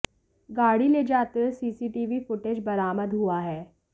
गाड़ी ले जाते हुए सीसीटीवी फुटेज बरामद हुआ है